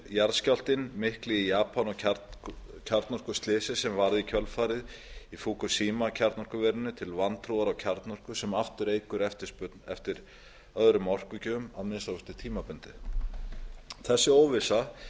jarðskjálftinn mikli í japan og kjarnorkuslysið sem varð í kjölfarið í fukushima kjarnorkuverinu til vantrúar á kjarnorku sem aftur eykur eftirspurn eftir öðrum orkugjöfum að minnsta kosti tímabundið þessi óvissa